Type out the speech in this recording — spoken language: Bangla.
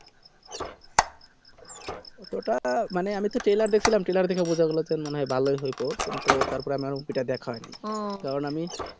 movie টামানে আমি তো telear দেখছিলাম telear দেখে বোঝা গেলো ভালোই হয়েছে কিন্তু তার পরে আমার movie টা দেখা হয় নি ও কারণ আমি